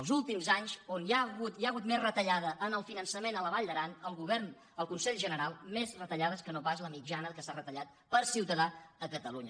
els últims anys on hi ha hagut més retallada en el fi·nançament a la vall d’aran al govern al consell ge·neral més retallades que no pas la mitjana que s’ha retallat per ciutadà a catalunya